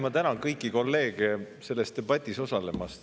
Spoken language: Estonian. Ma tänan kõiki kolleege selles debatis osalemast.